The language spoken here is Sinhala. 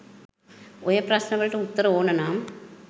ඔය ප්‍රශ්න වලට උත්තර ඕන නම්